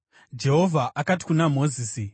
Jehovha akati kuna Mozisi,